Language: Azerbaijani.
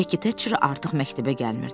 Bekki Tetcher artıq məktəbə gəlmirdi.